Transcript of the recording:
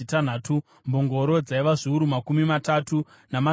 mbongoro dzaiva zviuru makumi matatu, namazana mashanu